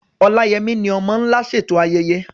Oláyẹmí ni "Ọmọ́ Ńlá" ṣètò ayẹyẹ.